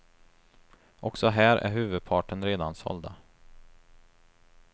Också här är huvudparten redan sålda.